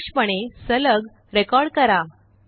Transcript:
आदर्शपणे सलग रेकॉर्ड करा